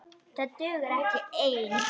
Það dugar ekki ein!